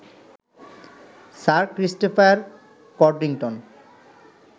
sir Christopher Codrington